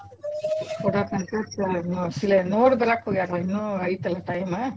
ಕೊಡಾಕಂತ ಸ~ ನ~ ಅ ನೋಡಿ ಬರಾಕ್ಹೋಗ್ಯಾರ ಇನ್ನೂ ಐತೆಲ್ಲಾ time .